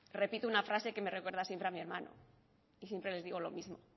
repito una frase que me recuerda siempre a mi hermano y siempre les digo lo mismo